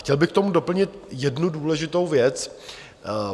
Chtěl bych k tomu doplnit jednu důležitou věc.